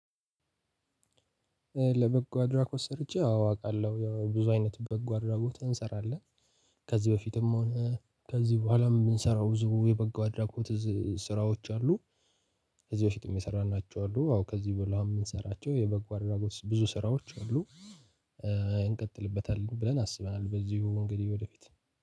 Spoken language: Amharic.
ለበጎ አድራጎት ሰርቼ አዎ አውቃለሁ ያው ብዙ አይነት በጎ አድራጎት እንሰራለን። ከዚህ በፊትም ከዚህ በኋላም ምንሰራው ብዙ የበጎ አድራጎት ስራዎች አሉ። ከዚህ በፊት የሚሰራናቸው አሉ አዎ ከዚህ በላው የምንሰራቸው የበጎ አድራጎት ብዙ ስራዎች አሉ። እንቀጥልበታለን ብለን አስበናል በዚሁ እንግዲህ ወደፊት